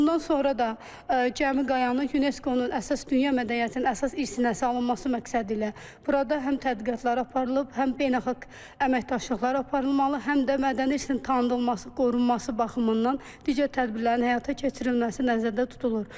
Bundan sonra da Qəmi Qayanın UNESCO-nun əsas dünya mədəniyyətinin əsas irsinə salınması məqsədilə burada həm tədqiqatlar aparılıb, həm beynəlxalq əməkdaşlıqlar aparılmalı, həm də mədəni irsin tanıdılması, qorunması baxımından digər tədbirlərin həyata keçirilməsi nəzərdə tutulur.